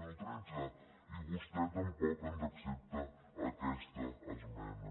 mil tretze i vostè tampoc ens accepta aquesta esmena